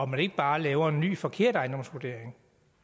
man ikke bare laver en ny forkert ejendomsvurdering